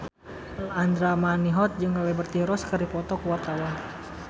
Andra Manihot jeung Liberty Ross keur dipoto ku wartawan